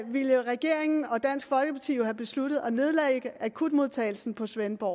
ville regeringen og dansk folkeparti have besluttet at nedlægge akutmodtagelsen på svendborg